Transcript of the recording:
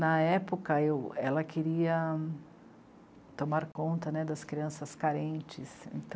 Na época, eu... ela queria... tomar conta, né, das crianças carentes,